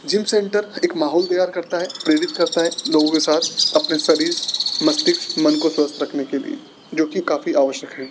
Gym centre एक माहौल तैयार करता है प्रेरित करता है लोगों के साथ अपने शरीर मस्तिष्क मन को स्वस्थ रखने के लिए जो की काफी आवश्यक है।